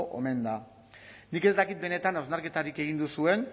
omen da nik ez dakit benetan hausnarketarik egin duzuen